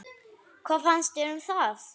Hvað fannst þér um það?